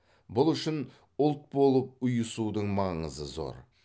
бұл үшін ұлт болып ұйысудың маңызы зор